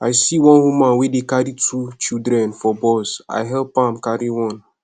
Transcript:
i see one woman wey carry two children for bus i help am carry one